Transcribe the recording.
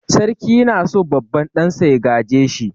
Sarki na so babban ɗansa ya gaje shi.